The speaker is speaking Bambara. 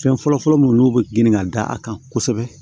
Fɛn fɔlɔfɔlɔ mun n'u be grin ka da a kan kosɛbɛ